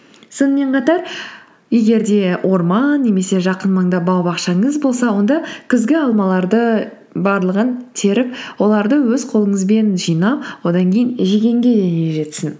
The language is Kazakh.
сонымен қатар егер де орман немесе жақын маңда бау бақшаңыз болса онда күзгі алмаларды барлығын теріп оларды өз қолыңызбен жинап одан кейін жегенге не жетсін